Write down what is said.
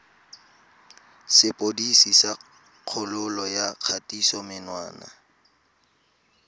sepodisi sa kgololo ya kgatisomenwa